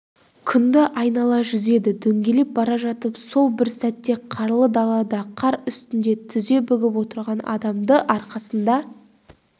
күнді айнала жүзеді дөңгелеп бара жатып сол бір сәтте қарлы далада қар үстінде тізе бүгіп отырған адамды арқасында